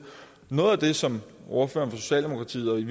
noget af det som ordføreren for socialdemokratiet